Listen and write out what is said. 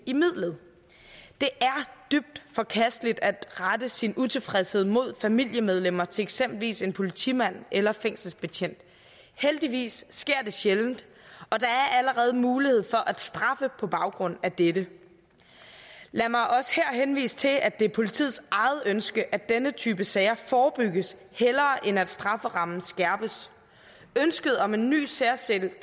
i midlet det er dybt forkasteligt at rette sin utilfredshed mod familiemedlemmer til eksempelvis en politimand eller fængselsbetjent og heldigvis sker det sjældent og der er allerede mulighed for at straffe på baggrund af dette lad mig også her henvise til at det er politiets eget ønske at denne type sager forebygges hellere end at strafferammen skærpes ønsket om en ny særskilt